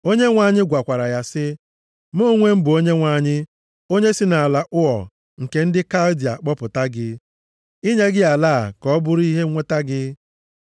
Onyenwe anyị gwakwara ya sị, “Mụ onwe m bụ Onyenwe anyị, onye si nʼala Ụọ nke ndị Kaldịa kpọpụta gị, inye gị ala a ka ọ bụrụ ihe nweta gị.”